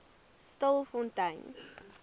stilfontein